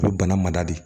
U bɛ bana mada de